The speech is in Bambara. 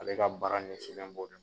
Ale ka baara ɲɛsi nen bɔ de ma